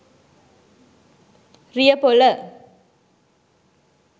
riyapola